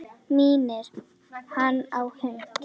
Minnir hann á hund.